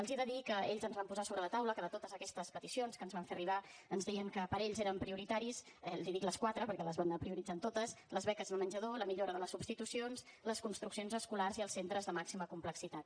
els he de dir que ells ens van posar sobre la taula que de totes aquestes peticions que ens van fer arribar ens deien que per ells eren prioritaris li dic les quatre perquè les van anar prioritzant totes les beques de menjador la millora de les substitucions les construccions escolars i els centres de màxima complexitat